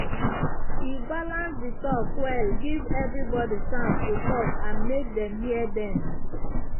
e balance the talk well give everybody chance to talk and make dem hear dem.